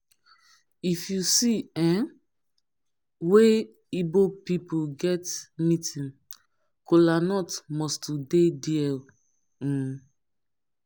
if yu see um wia igbo pipol get meeting kolanut must to dey dia um